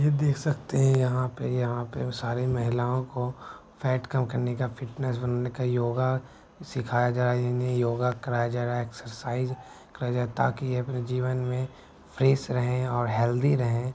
ये देख सकते हैं यहां पे यहां पे सारी महिलाओं को फैट कम करने का फिटनैस बनने का योगा सिखाया जा रहा है। इन्हें योगा कराया जा रहा है एक्सरसाइज कराई जाई ताकि ये अपने जीवन में फ्रेश रहें और हेल्थी रहें।